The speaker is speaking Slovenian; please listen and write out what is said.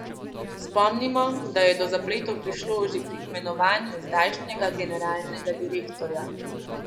Spomnimo, da je do zapletov prišlo že pri imenovanju zdajšnjega generalnega direktorja.